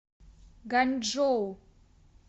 ганьчжоу